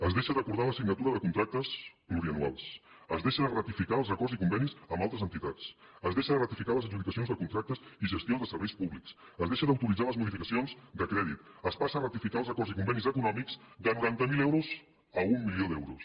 es deixa d’acordar la signatura de contractes plurianuals es deixa de ratificar els acords i convenis amb altres entitats es deixa de ratificar les adjudicacions de contractes i gestió de serveis públics es deixa d’autoritzar les modificacions de crèdit es passa a ratificar els acords i convenis econòmics de noranta mil euros a un milió d’euros